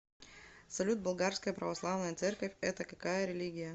салют болгарская православная церковь это какая религия